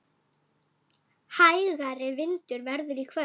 Hægari vindur verður í kvöld.